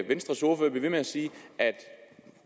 venstres ordfører bliver ved med at sige at i